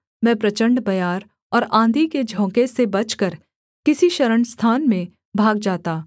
मैं प्रचण्ड बयार और आँधी के झोंके से बचकर किसी शरणस्थान में भाग जाता